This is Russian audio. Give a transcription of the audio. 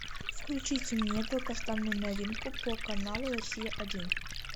включите мне долгожданную новинку по каналу россия один